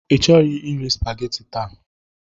Ịchọghị iri spageti taa?